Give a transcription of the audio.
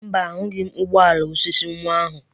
Mba, ahụghị m ụgbọ ala osisi nwa ahụ.